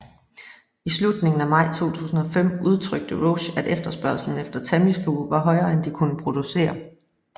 I slutningen af maj 2005 udtrykte Roche at efterspørgslen efter Tamiflu var højere end de kunne producere